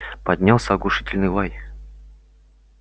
поднялся оглушительный лай